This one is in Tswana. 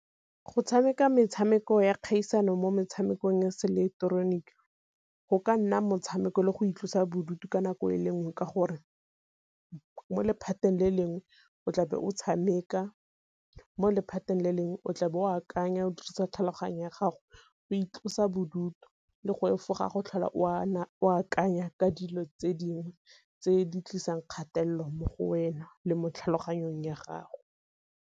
Go tshameka metshameko ya kgaisano mo metshamekong ya se ileketeroniki go ka nna motshameko le go itlosa bodutu ka nako e le nngwe, ka gore mo lephateng le lengwe o tlabe o tshameka mo lephateng le lengwe o tla bo o akanya o dirisa tlhaloganyo ya gago go itlosa bodutu le go efoga go tlhola o akanya ka dilo tse dingwe tse di tlisang kgatelelo mo go wena le mo tlhaloganyong ya gago.